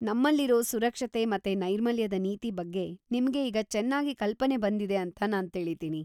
ನಮ್ಮಲ್ಲಿರೋ ಸುರಕ್ಷತೆ ಮತ್ತೆ ನೈರ್ಮಲ್ಯದ ನೀತಿ ಬಗ್ಗೆ ನಿಮ್ಗೆ ಈಗ ಚನ್ನಾಗಿ ಕಲ್ಪನೆ ಬಂದಿದೆ ಅಂತ ನಾನ್‌ ತಿಳಿತೀನಿ.